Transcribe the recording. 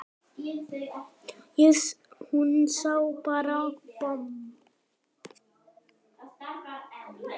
Að hún sé bara bomm!